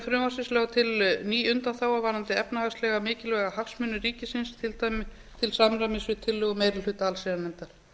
frumvarpsins lögð til ný undanþága varðandi efnahagslega mikilvæga hagsmuni ríkisins til samræmi við tillögu meiri hluta allsherjarnefndar